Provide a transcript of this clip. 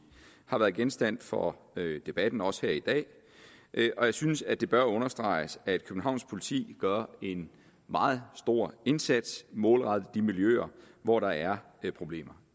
har været genstand for debatten også her i dag og jeg synes at det bør understreges at københavns politi gør en meget stor indsats målrettet de miljøer hvor der er problemer